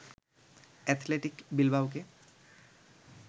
Athletic বিলবাওকে